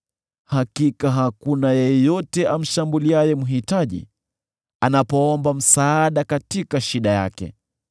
“Hakika hakuna yeyote amshambuliaye mhitaji, anapoomba msaada katika shida yake.